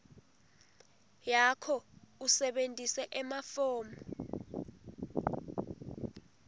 yakho usebentise emafomu